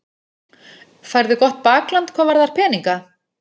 Færðu gott bakland hvað varðar peninga?